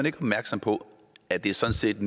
ikke opmærksom på at det sådan set